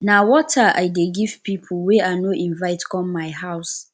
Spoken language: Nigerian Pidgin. na water i dey give pipo wey i no invite for my house